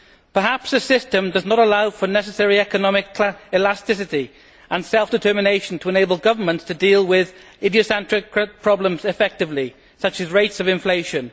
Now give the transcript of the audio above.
Perhaps the system does not allow for the necessary economic elasticity and self determination to enable governments to deal with idiosyncratic problems effectively, such as rates of inflation.